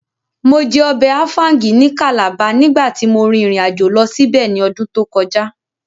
Mo jẹ ọbẹ̀ áfáúngì ní Calabar nígbàtí mo rìn ìrìnàjò lọ síbẹ̀ ní ọdún tó kọjá